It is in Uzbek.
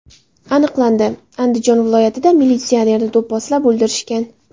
Aniqlandi: Andijon viloyatida militsionerni do‘pposlab o‘ldirishgan.